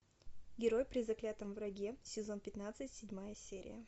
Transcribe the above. герой при заклятом враге сезон пятнадцать седьмая серия